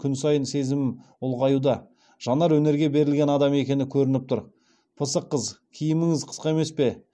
күн сайын сезімім ұлғаюда жанар өнерге берілген адам екені көрініп тұр пысық қыз киіміңіз қысқа емес пе